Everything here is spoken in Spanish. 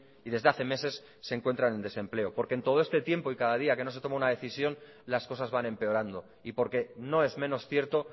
y desde hace meses se encuentran en desempleo porque en todo este tiempo y cada día que no se toma una decisión las cosas van empeorando y porque no es menos cierto